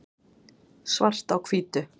svart á hvítu